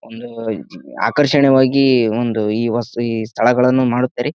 ಒಂದು ಆಕರ್ಷಣೀಯವಾಗಿ ಒಂದು ಈ ಸ್ಥಳಗಳನ್ನು ಮಾಡುತ್ತಾರೆ